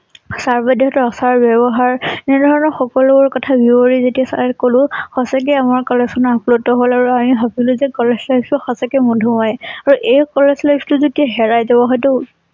Sir বাইদেউ সতৰ আচাৰ ব্যৱহাৰ এনে ধৰণৰ সকলো বোৰ কথা যেতিয়া চাৰক কলোঁ । সঁচাকৈয়ে আমাৰ কলেজ খন আপ্লুত হল আৰু আমি ভাবিলো যে কলেজ life টো সঁচাকৈয়ে মধুময়। আৰু এই কলেজ life টো যেতিয়া হেৰাই যাব হয়তো